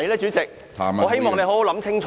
主席，我希望你想清楚。